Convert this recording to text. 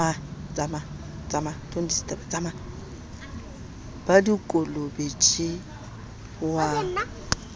ba dikolobe tje o a